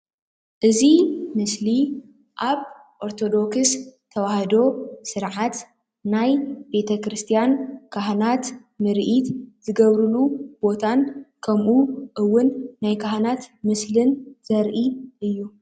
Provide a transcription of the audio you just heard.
እዚ ምስሊ ኣብ ኦርቶዶክስ ተዋህዶ ስርዓት ናይ ቤተ-ክርስትያን ካህናት ምርኢት ዝገብሩሉ ቦታን ከምኡውን ናይ ካህናት ምስሊ ዘርኢ እዩ።